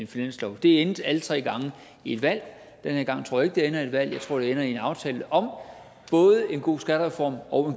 finanslov det endte alle tre gange i et valg den her gang tror jeg ikke det ender i et valg jeg tror det ender i en aftale om både en god skattereform og